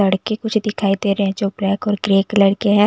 लड़के कुछ दिखाई दे रहे हैं जो ब्लैक और ग्रे कलर के हैं।